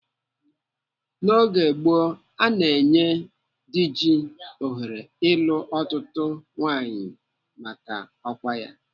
N'oge gboo, ana enye Diji ohere ịlụ ọtụtụ nwaanyị maka ọkwa ya.